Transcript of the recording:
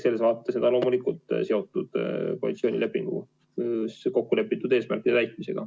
Selles vaates on eelnõu loomulikult seotud koalitsioonilepingus kokkulepitud eesmärkide täitmisega.